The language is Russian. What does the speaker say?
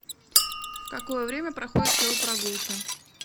в какое время проходят велопрогулки